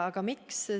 Aga miks?